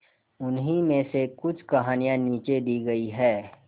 उन्हीं में से कुछ कहानियां नीचे दी गई है